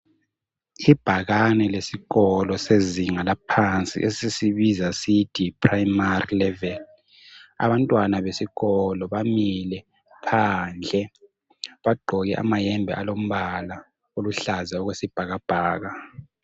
Ibhakane lesikolo sezinga laphansi esisibiza sithi yiprimary level. Abantwana besikolo bamile phandle bagqoke amayembe alombala oluhlaza okwesibhakabhaka.